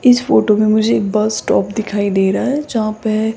इस फोटो में मुझे बस स्टॉप दिखाई दे रहा है जहां पे--